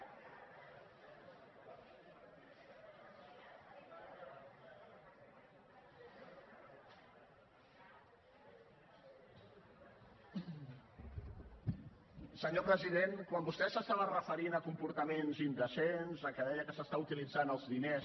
senyor president quan vostè s’estava referint a comportaments indecents a que deia que s’està utilitzant els diners